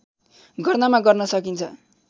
गर्नमा गर्न सकिन्छ